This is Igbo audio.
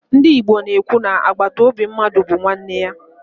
Ndị Igbo na-ekwu na agbataobi mmadụ bụ nwanne ya.